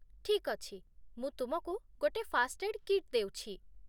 ଠିକ୍ ଅଛି, ମୁଁ ତୁମକୁ ଗୋଟେ ଫାଷ୍ଟ୍ଏଡ୍ କିଟ୍ ଦେଉଛି